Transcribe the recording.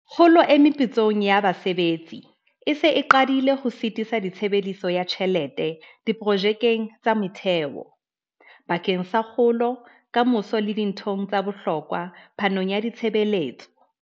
Kgolo e meputsong ya basebetsi e se e qadile ho sitisa tshebediso ya tjhelete diprojekeng tsa motheo, bakeng sa kgolo ya ka moso le dinthong tsa bohlokwa phanong ya ditshebeletso.